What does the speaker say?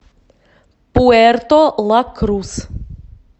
пуэрто ла крус